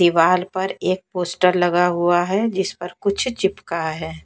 दीवाल पर एक पोस्टर लगा हुआ हैजिस पर कुछ चिपका है।